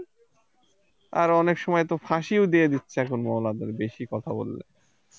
আর অনেক সময় তো ফাঁসিও দিয়ে দিচ্ছে এখন মৌলানাদের বেশি কথা বললে